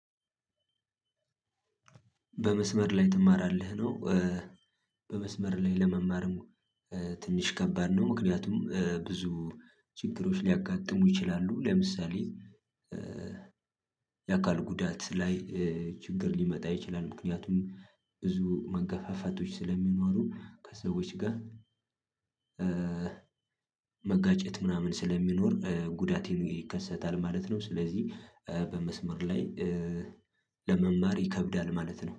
በመስመር ላይ ትማራለህ ነው። በመስመር ላይ ለመማርም ትንሽ ከባድ ነው። ምክንያቱም ብዙ ችግሮች ሊያጋጥሙ ይችላሉ ለምሳሌ። የአካል ጉዳት ላይ ችግር ሊመጣ ይችላል። ምክንያቱም ብዙ መገፋፈቶች ስለሚኖሩ ከሰዎች ጋር። መጋጨት ምናምን ስለሚኖር ጉዳትም ይከሰታል ማለት ነው። ስለዚህ በመስመር ላይ ለመማር ይከብዳል ማለት ነው